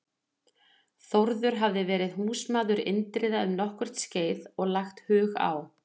Þórður hafði verið húsmaður Indriða um nokkurt skeið og lagt hug á